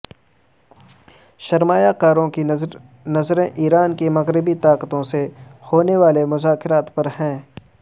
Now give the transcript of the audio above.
سرمایہ کاروں کی نظریں ایران کی مغربی طاقتوں سے ہونے والے مذاکرات پر ہیں